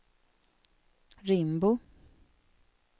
Rimbo